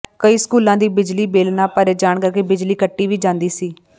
ਕਈ ਸਕੂਲਾਂ ਦੀ ਬਿਜਲੀ ਬਿੱਲ ਨਾ ਭਰੇ ਜਾਣ ਕਰਕੇ ਬਿਜਲੀ ਕੱਟੀ ਵੀ ਜਾਂਦੀ ਸੀ